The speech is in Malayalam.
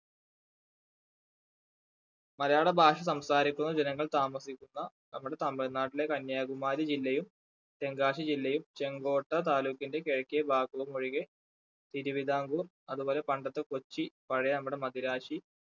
മലയാള ഭാഷ സംസാരിക്കുന്ന ജനങ്ങൾ താമസിക്കുന്ന നമ്മുടെ തമിഴ്നാട്ടിലെ കന്യാകുമാരി ജില്ലയും തെങ്കാശി ജില്ലയും ചെങ്കോട്ട താലൂക്കിന്റെ കിഴെക്കെ ഭാഗങ്ങളും ഒഴികെ തിരുവിതാംകൂർ അതുപോലെ പണ്ടത്തെ കൊച്ചി പഴയ നമ്മുടെ മദിരാശി